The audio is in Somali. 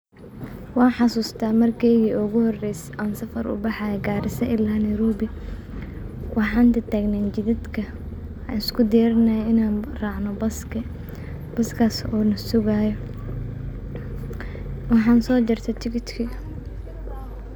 Waan xasuusta markeeygi oogu horeeyse aan safar ubaxaaye garissa ilaa Nairobi, waxaan tagtaagneen jidadka aan isku diyaarinaaye inaan raacno buska, buskaas oo nasugaayo, waxaan soo jarte tikitki.